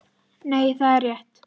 Nei, það er rétt